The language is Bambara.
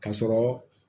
Ka sɔrɔ